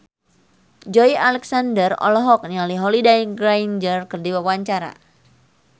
Joey Alexander olohok ningali Holliday Grainger keur diwawancara